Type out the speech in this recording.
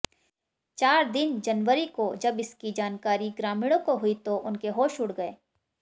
चार दिन जनवरी को जब इसकी जानकारी ग्रामीणों को हुई तो उनके होश उड़ गए